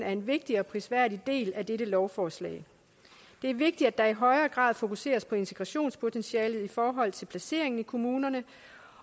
er en vigtig og prisværdig del af dette lovforslag det er vigtigt at der i højere grad fokuseres på integrationspotentialet i forhold til placeringen i kommunerne